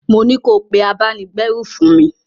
Mo ní ko pé abáni-gbérù fún mi!